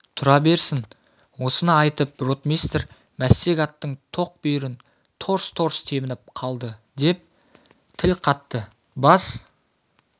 тұра берсін осыны айтып ротмистр мәстек аттың тоқ бүйірін торс-торс тебініп қалды деп тіл қатты бас